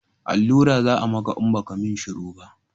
Allura za a maka in ba ka mun shuru ba